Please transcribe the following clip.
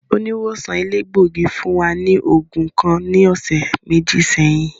Oniwosan elegbogi fun wa ni oogun kan ni ọsẹ meji sẹhin.